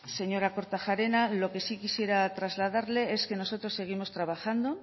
señora kortajarena lo que sí quisiera trasladarle es que nosotros seguimos trabajando